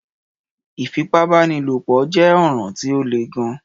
Ìfípábánilòpõ jé ọ̀ràn tí o lè gàn.